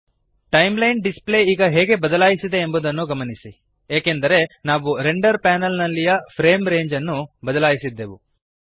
timeline display ಈಗ ಹೇಗೆ ಬದಲಾಯಿಸಿದೆ ಎಂಬುದನ್ನು ಗಮನಿಸಿರಿ ಏಕೆಂದರೆ ನಾವು ರೆಂಡರ್ ಪ್ಯಾನಲ್ ನಲ್ಲಿಯ ಫ್ರೇಮ್ ರೇಂಜ್ ಅನ್ನು ಬದಲಾಯಿಸಿದ್ದೆವು